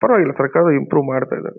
ಪರವಾಗಿಲ್ಲ ಸರಕಾರದವರು ಇಂಪ್ರೂವ್ ಮಾಡ್ತಾ ಇದ್ದಾರೆ.